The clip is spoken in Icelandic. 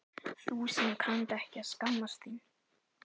Þú sem kannt ekki að skammast þín.